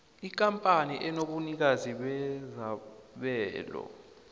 ikampani enobunikazi bezabelo